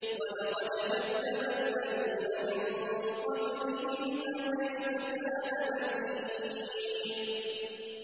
وَلَقَدْ كَذَّبَ الَّذِينَ مِن قَبْلِهِمْ فَكَيْفَ كَانَ نَكِيرِ